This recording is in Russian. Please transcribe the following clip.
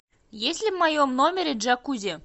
есть ли в моем номере джакузи